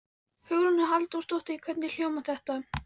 Hugrún Halldórsdóttir: Hvernig hljómar þetta?